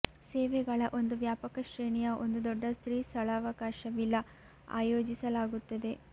ಸೇವೆಗಳ ಒಂದು ವ್ಯಾಪಕ ಶ್ರೇಣಿಯ ಒಂದು ದೊಡ್ಡ ಸ್ತ್ರೀ ಸ್ಥಳಾವಕಾಶವಿಲ್ಲ ಆಯೋಜಿಸಲಾಗುತ್ತದೆ